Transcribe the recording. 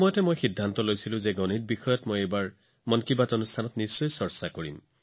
সেই সময়তে মই সিদ্ধান্ত লৈছিলো যে মই নিশ্চিতভাৱে এই বাৰৰ মন কী বাতত গণিতৰ বিষয়ে আলোচনা কৰিম